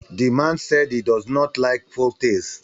the man said he does not like folktales